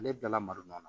Ale bɛɛ lamarona